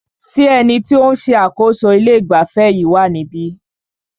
Ṣé ẹni tí o ń ṣe àkóso ilé ìgbafẹ́ yìí wá níbí?